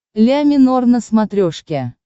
ля минор на смотрешке